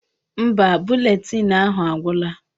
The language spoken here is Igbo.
Mba, buletịịnụ ahụ agwụla.